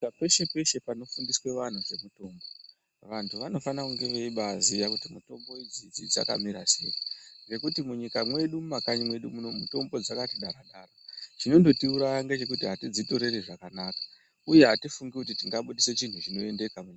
Peshe peshe panofundiswa vanhu nezve mutombo vantu vanofanirwa kungeve baiziva kuti mitombo idzi dzakamira sei nekuti munyika medu mukanyi mwedu mitombo dzedu dzakati chakata chino ngotiuraya ndeche kuti hatidzitoreri zvakanaka uye hatifungi kuti tingabudisa chinhu chinoendeka.